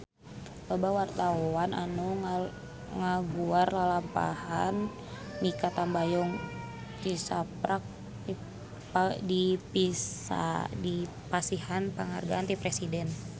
Loba wartawan anu ngaguar lalampahan Mikha Tambayong tisaprak dipasihan panghargaan ti Presiden